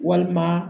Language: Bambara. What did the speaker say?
Walima